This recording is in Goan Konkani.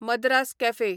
मद्रास कॅफे